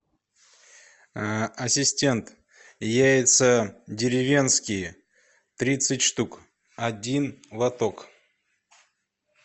ассистент яйца деревенские тридцать штук один лоток